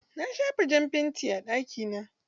Na shafa jan fanti a ɗaki na.